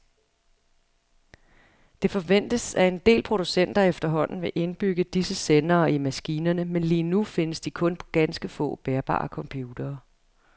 Det forventes, at en del producenter efterhånden vil indbygge disse sendere i maskinerne, men lige nu findes de kun på ganske få bærbare computere.